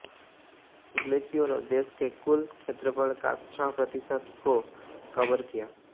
ग्लेशियरों देश के कुल क्षेत्रफल का छह प्रतिशत को कवर किया